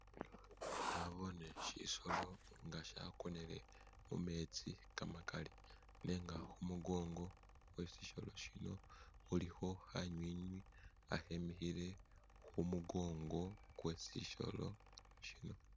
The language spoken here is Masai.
Nabone shisolo nga shagonele ku menzi gamagali nenga kumugongo kwe shisolo shino kuliko kanywinwyi akimikile kumugongo gwe shisolo shino.